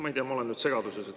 Ma ei tea, ma olen nüüd segaduses.